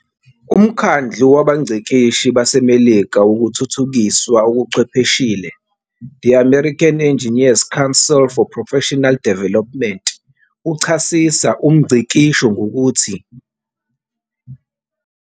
UMkhandlu wabaNgcikishi baseMelika wokuThuthukiswa okuChwepheshile "The American Engineers' Council for Professional Development" uchasisa 'umngcikisho' ngokuthi.